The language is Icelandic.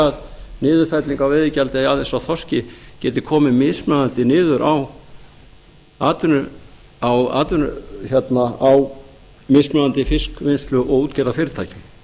að niðurfelling á veiðigjaldi aðeins á þorski geti komið mismunandi niður á mismunandi fiskvinnslu og útgerðarfyrirtækjum